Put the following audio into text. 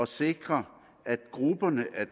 sikre at grupperne af